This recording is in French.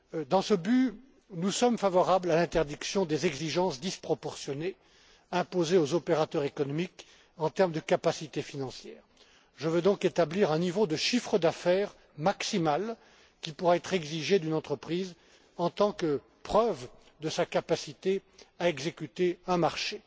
Dans ce but, nous sommes favorables à l'interdiction des exigences disproportionnées imposées aux opérateurs économiques en termes de capacité financière. Je veux donc établir un niveau de chiffre d'affaires maximal qui pourra être exigé d'une entreprise en tant que preuve de sa capacité à exécuter un